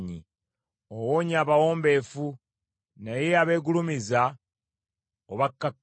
Owonya abawombeefu, naye abeegulumiza obakkakkanya.